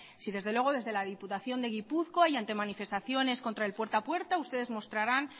si desde luego si desde la diputación de gipuzkoa y ante manifestaciones contra el puerta a puerta ustedes mostrarán